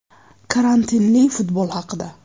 Karantinli futbol haqida.